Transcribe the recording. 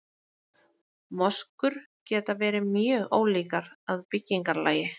Moskur geta verið mjög ólíkar að byggingarlagi.